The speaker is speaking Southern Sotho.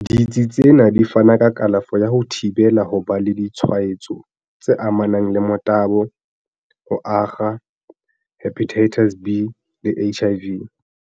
"Ditsi tsena di fana ka kalafo ya ho thibela ho ba le ditshwa etso tse amanang le motabo, ho akga Hepatitis B le HIV."